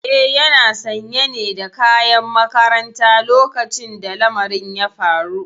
Eh yana sanye ne da kayan makaranta lokacin da lamarin ya faru.